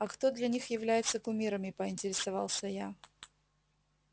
а кто для них является кумирами поинтересовалась я